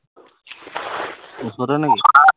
ওচৰতে নে কি